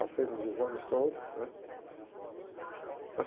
Passei nos exames todos, né?